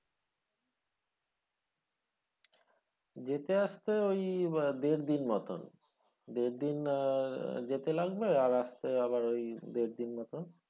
যেতে আসতে ওই দেড় দিন মতোন দেড় দিন আহ যেতে লাগবে আসতে আবার ওই দেড় দিন মতন